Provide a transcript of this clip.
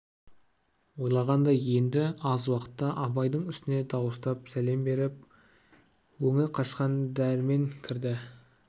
ойлағандай енді аз уақытта абайдың үстіне дауыстап сәлем беріп өңі қашқан дәрмен кірді